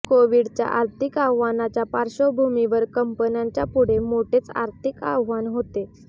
कोविडच्या आर्थिक आव्हानाच्या पार्श्वभूमीवर कंपन्यांच्या पुढे मोठेच आर्थिक आव्हान होते